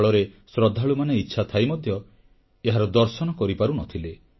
ଫଳରେ ଶ୍ରଦ୍ଧାଳୁମାନେ ଇଚ୍ଛାଥାଇ ମଧ୍ୟ ଏହାର ଦର୍ଶନ କରିପାରୁ ନ ଥିଲେ